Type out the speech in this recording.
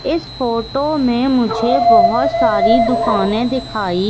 इस फोटो में मुझे बहोत सारी दुकाने दिखाई--